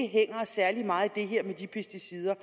hænger os særlig meget i det her med de pesticider